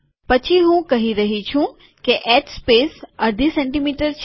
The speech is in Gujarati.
પછી હું કહી રહ્યો છું કે એચ સ્પેસ અર્ધી સેમી છે